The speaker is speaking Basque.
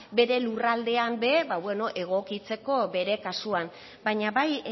bere lurraldean ere egokitzeko bere kasuan baina bai